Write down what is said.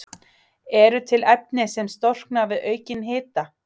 Eru til efni sem storkna við aukinn hita?